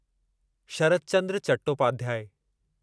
Sharad Chandra Chattopadhyay